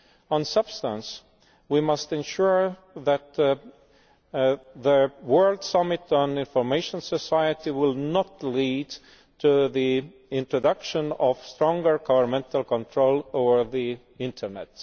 On substance we must ensure that the World Summit on the Information Society will not lead to the introduction of stronger governmental control over the internet.